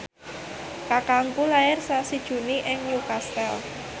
kakangku lair sasi Juni ing Newcastle